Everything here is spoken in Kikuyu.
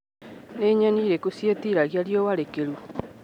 Nĩ nyeni irĩkũ ciĩtiragia riũa rĩkĩru.